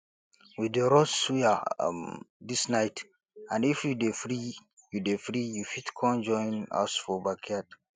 we dey roast suya um dis night and if you dey free you dey free you fit con join us for backyard